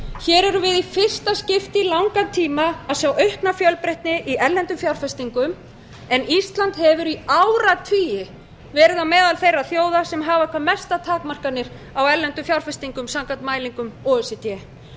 hér erum við í fyrsta skipti í langan tíma að sjá aukna fjölbreytni í erlendum fjárfestingum en ísland hefur í áratugi verið á meðal þeirra þjóða sem hafa hvað mestar takmarkanir á erlendum fjárfestingum samkvæmt mælingum o e c d